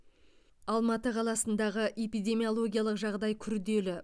алматы қаласындағы эпидемиологиялық жағдай күрделі